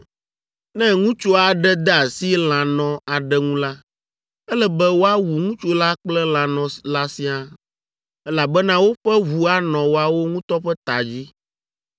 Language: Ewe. “ ‘Ne ŋutsu aɖe de asi lãnɔ aɖe ŋu la, ele be woawu ŋutsu la kple lãnɔ la siaa, elabena woƒe ʋu anɔ woawo ŋutɔ ƒe ta dzi.